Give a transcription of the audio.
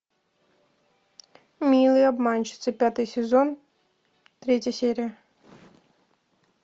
милые обманщицы пятый сезон третья серия